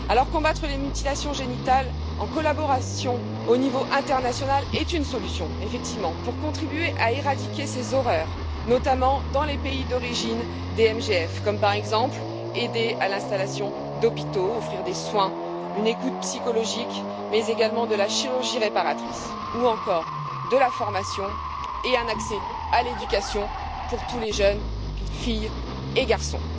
Combattre les mutilations génitales en collaboration au niveau international est une solution, effectivement, pour contribuer à éradiquer ces horreurs, notamment dans les pays d'origine des MGF, par exemple aider à l'installation d'hôpitaux, offrir des soins, une écoute psychologique, mais également de la chirurgie réparatrice ou encore de la formation et un accès à l'éducation pour tous les jeunes, filles et garçons.